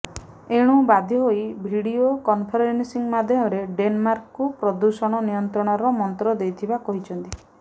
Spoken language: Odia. ଏଣୁ ବାଧ୍ୟ ହୋଇ ଭିଡିଓ କନଫରେନସିଂ ମାଧ୍ୟମରେ ଡେନମାର୍କକୁ ପ୍ରଦୂଷଣ ନିୟନ୍ତ୍ରଣର ମନ୍ତ୍ର ଦେଇଥିବା କହିଛନ୍ତି